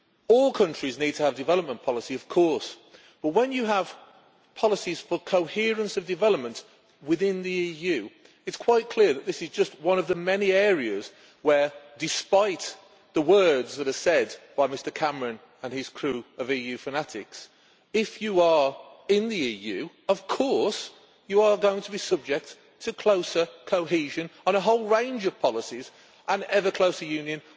All countries need to have development policy, of course, but when you have policies for coherence of development within the EU, it is quite clear that this is just one of the many areas where, despite the words of Mr Cameron and his crew of EU fanatics, if you are in the EU then of course you are going to be subject to closer cohesion on a whole range of policies, and to ever closer union.